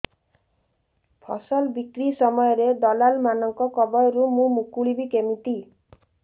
ଫସଲ ବିକ୍ରୀ ସମୟରେ ଦଲାଲ୍ ମାନଙ୍କ କବଳରୁ ମୁଁ ମୁକୁଳିଵି କେମିତି